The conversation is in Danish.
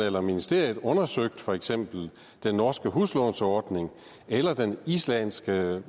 eller ministeriet har undersøgt for eksempel den norske huslånsordning eller den islandske